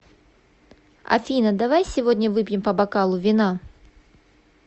афина давай сегодня выпьем по бокалу вина